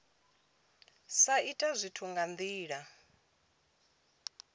sa ita zwithu nga ndila